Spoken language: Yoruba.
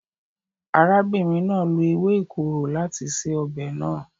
Arábìnrin náà lo ewé ìkorò láti se ọbẹ̀ náà.